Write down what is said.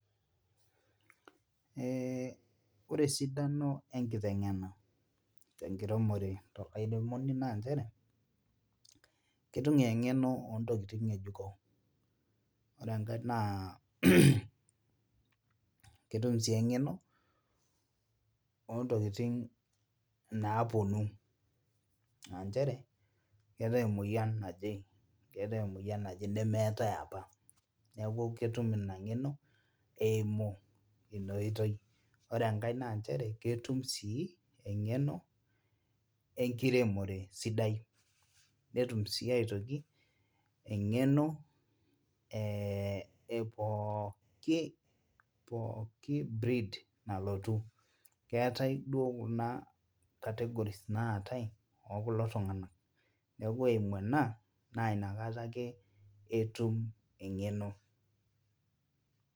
Ee ore esidano enkitengena enekiremore tolairemoni naa nchere ketum eng'eno ootokitin ngejuko, ore enkae naa, ketum sii eng'eno ootokitin naapuonu aa cheree keetae emoyian naje, keetae emoyian naje nemeetae apa neeku itum ina ng'eno eimu ina oitoi ore enkae naa nchere ketum sii eng'eno enekiremore sidai, netum sii aitoki eng'eno ee pooki breed nalotu keetae duoo kuna categories naatae ooh kulo tungana neeku kore eimu ena naa nakata ake etum eng'eno.